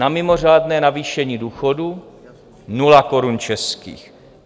Na mimořádné navýšení důchodů - nula korun českých.